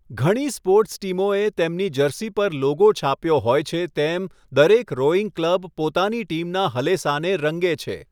ઘણી સ્પોર્ટ્સ ટીમોએ તેમની જર્સી પર લોગો છાપ્યો હોય છે તેમ દરેક રોઇંગ ક્લબ પોતાની ટીમના હલેસાને રંગે છે.